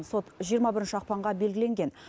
сот жиырма бірінші ақпанға белгіленген